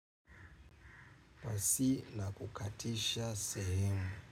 Wasi na kukatisha sehemu.